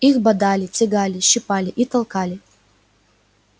их бодали лягали щипали и толкали